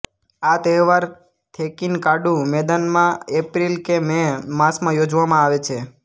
આ તહેવાર થેકીનકાડુ મેદાનમાં એપ્રિલ કે મે માસમાં યોજવામાં આવે છે